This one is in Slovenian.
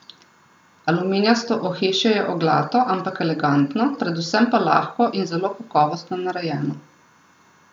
Aluminijasto ohišje je oglato, ampak elegantno, predvsem pa lahko in zelo kakovostno narejeno.